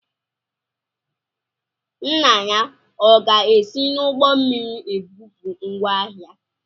Nna ya ọ ga-esi n'ụgbọ mmiri ebupụ ngwá ahịa?